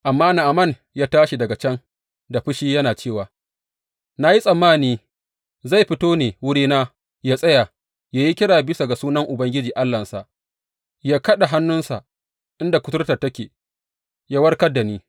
Amma Na’aman ya tashi daga can da fushi yana cewa, Na yi tsammani zai fito ne wurina yă tsaya, yă yi kira bisa ga sunan Ubangiji Allahnsa, yă kaɗa hannunsa inda kuturtar take, yă warkar da ni.